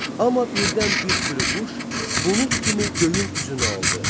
Amma birdən bir sürü quş, bulud kimi göyün üzünü aldı.